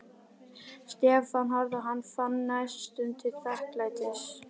Stefán horfði á hann og fann næstum til þakklætis.